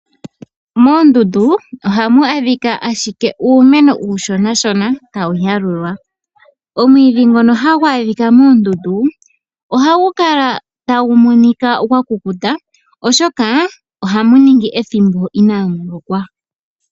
Moondundu ohamu adhika ashike uumeno uushonashona, tawu yalulwa. Omwiidhi ngono hagu adhika moondundu, ohagu kala tagu monika gwa kukuta, oshoka ohamu ningi ethimbo olindji inaamu lokwa.